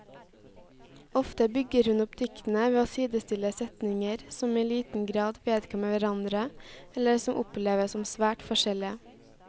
Ofte bygger hun opp diktene ved å sidestille setninger som i liten grad vedkommer hverandre, eller som oppleves som svært forskjellige.